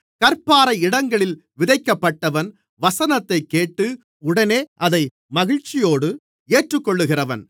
கற்பாறை இடங்களில் விதைக்கப்பட்டவன் வசனத்தைக்கேட்டு உடனே அதை மகிழ்ச்சியோடு ஏற்றுக்கொள்ளுகிறவன்